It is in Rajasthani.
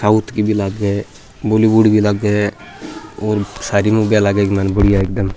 साउथ कि भी लागे बॉलीवुड भी लागे और सारी मूविया लागे इक माय बड़िया एकदम।